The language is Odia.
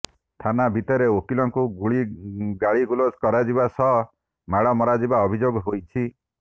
ଥାନା ଭିତରେ ଓକିଲଙ୍କୁ ଗାଳିଗୁଲଜ କରାଯିବା ସହ ମାଡ ମରାଯିବା ଅଭିଯୋଗ ହୋଇଛି